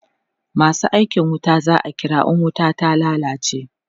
masu aikin wuta za'a kira in wuta ta lallace